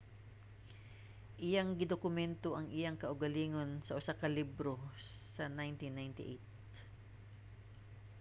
iyang gidokumento ang iyang kaugalingon sa usa ka libro sa 1998